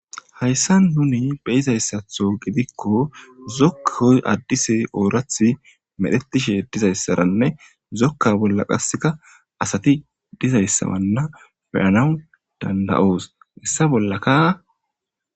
Hayssa nuni beyizayssatho gidikko zokkoy addise oorathi medhetishe dizayssaranne zokka bolla qaseka asati dizayssawanna beyanaw danda'oos hessa bollaka.